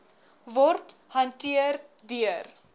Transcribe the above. word hanteer deur